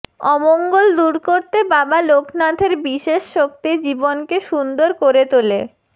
অমঙ্গল দূর করতে বাবা লোকনাথের বিশেষ শক্তি জীবনকে সুন্দর করে তোলে